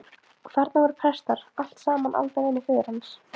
Og þarna voru prestar, allt saman aldavinir föður hans.